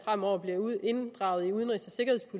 fremover blev inddraget i udenrigs